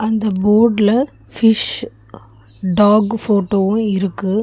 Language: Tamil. அந்த போட்ல ஃபிஷ் டாக்கு போட்டோவு இருக்கு.